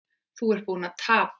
Þú ert búinn að tapa